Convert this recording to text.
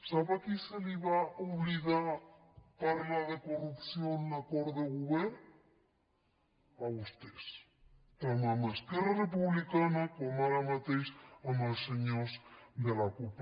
sap a qui se li va oblidar parlar de corrupció en l’acord de govern a vostès tant a esquerra republicana com ara mateix als senyors de la cup